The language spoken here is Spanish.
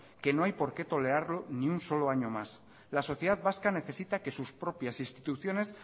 que no hay por qué tolerarlo ni un solo año más la sociedad vasca necesita que sus propias instituciones